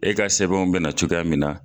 E ka sɛbɛnw be na cogoya min na